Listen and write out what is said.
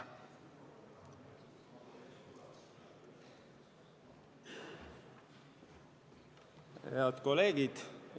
Head kolleegid!